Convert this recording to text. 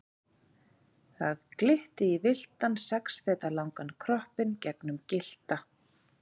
Það glitti í villtan sex feta langan kroppinn gegnum gyllta